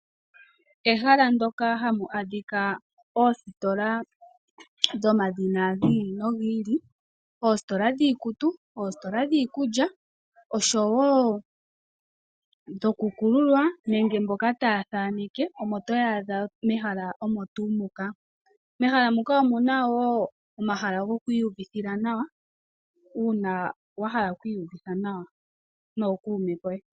Ehala ndyoka ha mu adhikwa oositola dhomaludhi gi ili nogi ili, oositola dhiikutu, oositola dhiikulya, osho woo dho ku kulula nuukololo wo ku thaanekela omo to wu adha mehala moka. Mehala mu ka omuna woo omahala goku iyuvithila nawa uuna wa hala oku nyanyukilwa pamwe nookuume ko ye.